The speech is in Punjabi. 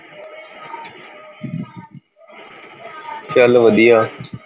ਚੱਲ ਵਧੀਆ